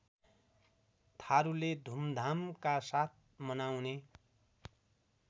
थारूले धुमधामकासाथ मनाउने